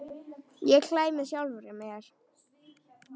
Ég hlæ með sjálfri mér.